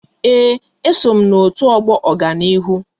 Ee, e so m n'otu ọgbọ Ọganihu